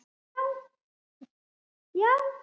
Já